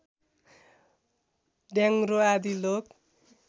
ढ्याङग्रो आदि लोक